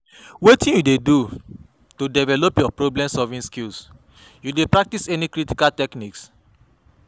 Wetin you dey do to develop your problem-solving skills, you dey practice any critical techniques?